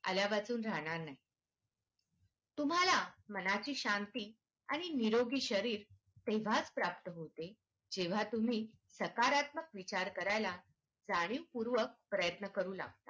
आल्यावाचून राहणार नाही तुम्हाला मनाची शांती आणि निरोगी शरीर तेव्हाच प्राप्त होते जेव्हा तुम्ही सकारात्मक विचार करायला जाणीवपूर्वक प्रयत्न करू लागतात.